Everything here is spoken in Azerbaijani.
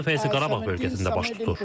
Bu dəfə isə Qarabağ bölgəsində baş tutur.